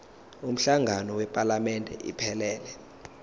umhlangano wephalamende iphelele